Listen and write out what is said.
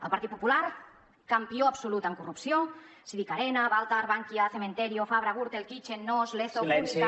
el partit popular campió absolut en corrupció si dic arena baltar bankia cementerio fabra gürtel kitchen nóos lezo púnica